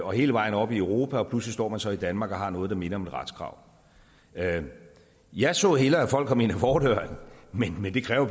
og hele vejen op i europa og pludselig står man så i danmark og har noget der minder om et retskrav jeg så hellere at folk kom ind ad fordøren men men det kræver